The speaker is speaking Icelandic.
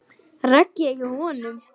Raggi er hjá honum.